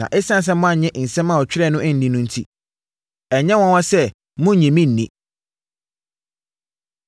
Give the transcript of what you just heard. Na ɛsiane sɛ moannye nsɛm a ɔtwerɛeɛ no anni no enti, ɛnyɛ nwanwa sɛ monnye me nni.”